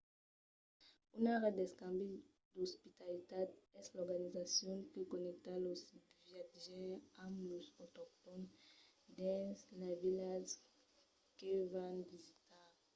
una ret d'escambi d'ospitalitat es l’organizacion que connècta los viatjaires amb los autoctòns dins las vilas que van visitar